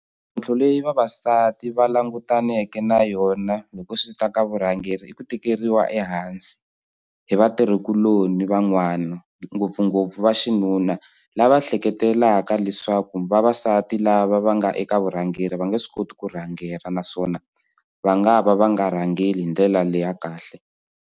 leyi vavasati va langutaneke na yona loko swi ta ka vurhangeri i ku tikeriwa ehansi hi vatirhikuloni van'wana ngopfungopfu va xinuna lava ehleketelelaka leswaku vavasati lava va nga eka vurhangeri va nge swi koti ku rhangela naswona va nga va va nga rhangeli hi ndlela leya kahle.